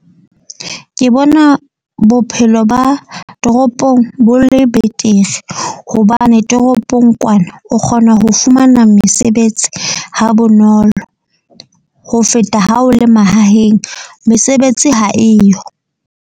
Ke bona bophelo ba toropong bo le betere, hobane toropong kwana o kgona ho fumana mesebetsi ha bonolo. Ho feta ha o le mahaheng, mesebetsi ha eyo.